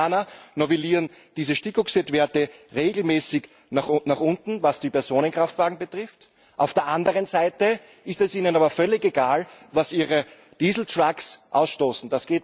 Denn die Amerikaner novellieren diese Stickoxidwerte regelmäßig nach unten, was die Personenkraftwagen betrifft, auf der anderen Seite ist es ihnen aber völlig egal, was ihre Dieseltrucks ausstoßen.